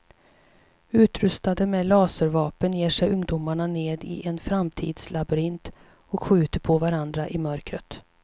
Utrustade med laservapen ger sig ungdomar ned i en framtidslabyrint och skjuter på varandra i mörkret.